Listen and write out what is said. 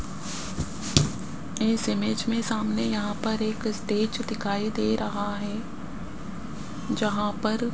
इस इमेज में सामने यहां पर एक स्टेज दिखाई दे रहा है जहां पर --